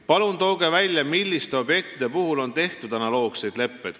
Palun tooge välja, milliste objektide puhul on tehtud analoogseid leppeid.